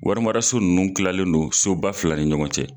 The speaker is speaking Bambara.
Warimaraso nunnu kilalen don soba fila ni ɲɔgɔn cɛ.